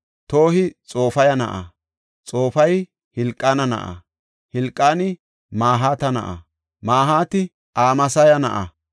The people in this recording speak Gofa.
Tohi Xofaya na7a; Xofaya Helqaana na7a; Hilqaani Mahaata na7a; Mahaati Amasaya na7a;